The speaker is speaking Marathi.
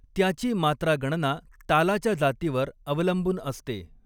त्याची मात्रागणना तालाच्या जातीवर अवलंबून असते.